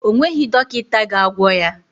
Ọ nweghị dọkịta ga-agwọ ya.